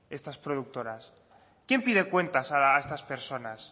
estas productoras quién pide cuentas a estas personas